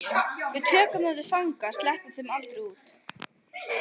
Við tökum þá til fanga. sleppum þeim aldrei út.